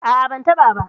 A'a ban taɓa ba.